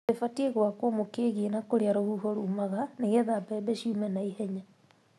Rĩbatiĩ gwakwo mũkĩgiĩ na kũrĩa rũhuho rumaga nĩgetha mbembe ciũme na ihenya.